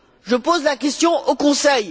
Je pose la question au Conseil.